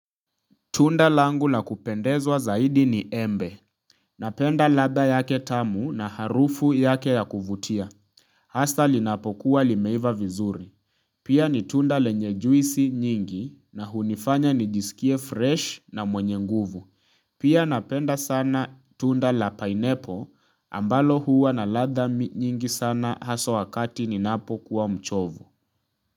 Tunda langu lakupendezwa zaidi ni embe. Napenda ladha yake tamu na harufu yake ya kuvutia. Hasa linapokuwa limeiva vizuri. Pia ni tunda lenye juisi nyingi na hunifanya nijisikie fresh na mwenye nguvu. Pia napenda sana tunda la pineapple ambalo huwa na ladha nyingi sana haswa wakati ninapokuwa mchovu.